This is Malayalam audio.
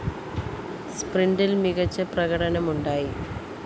സ്പ്രിന്റില്‍ മികച്ച പ്രകടനം ഉണ്ടായി